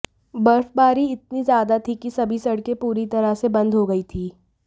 बर्फबारी इतनी ज्यादा थी की सभी सड़के पूरी तरह से बंद हो गईं थीं